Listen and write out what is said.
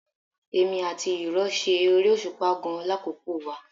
Èmi àti ìrọ̀ ṣe eré òṣùpá gan-an lákòókò wa